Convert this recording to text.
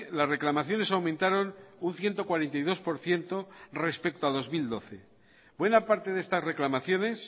las reclamaciones aumentaron un ciento cuarenta y dos por ciento respecto a dos mil doce buena parte de estas reclamaciones